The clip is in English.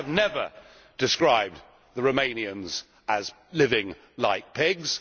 I have never described the Romanians as living like pigs.